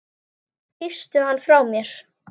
Kysstu hann frá mér.